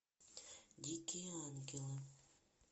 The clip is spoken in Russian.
дикие ангелы